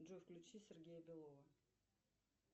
джой включи сергея белова